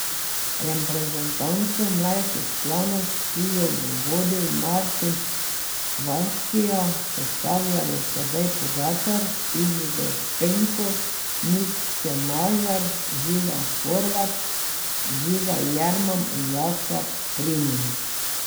Reprezentanco mlajših članov, ki jo bo vodil Martin Hvastija, sestavljajo Tadej Pogačar, Izidor Penko, Nik Čemažar, Žiga Horvat, Žiga Jerman in Jaka Primožič.